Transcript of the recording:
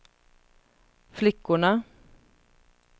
flickorna